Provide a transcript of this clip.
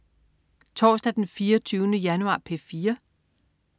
Torsdag den 24. januar - P4: